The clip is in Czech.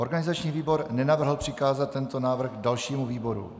Organizační výbor nenavrhl přikázat tento návrh dalšímu výboru.